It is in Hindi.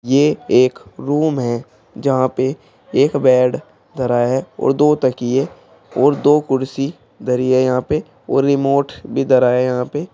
ये एक रूम है जहां पे एक बेड धराया है और दो तकिये और दो कुर्सी धरी है यहां पे और रिमोट भी धरा है यहां पे।